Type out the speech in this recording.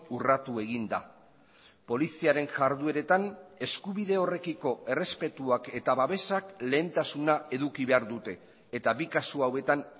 urratu egin da poliziaren jardueretan eskubide horrekiko errespetuak eta babesak lehentasuna eduki behar dute eta bi kasu hauetan